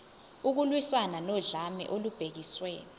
ukulwiswana nodlame olubhekiswe